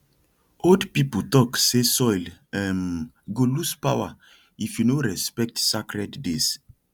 old people talk say soil um go lose power if you no respect sacred days